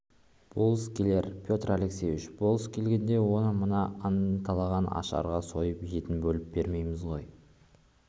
болыс келер петр алексеевич болыс келгенде оны мына анталаған аштарға сойып етін бөліп бермейміз ғой